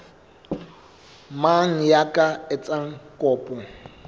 mang ya ka etsang kopo